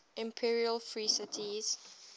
imperial free cities